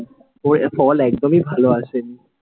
ফল একদমই ভালো আসেনি।